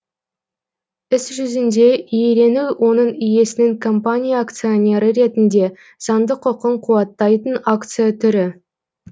іс жүзінде иелену оның иесінің компания акционері ретінде заңдық құқын қуаттайтын акция түрі